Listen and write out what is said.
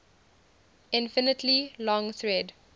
infinitely long thread